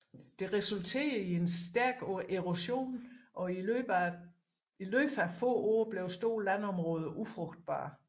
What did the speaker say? Det resulterede i en stærk erosion og i løbet af få år blev store landområder ufrugtbare